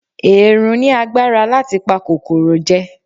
Èèrùn ní agbára láti pa kòkòrò jẹ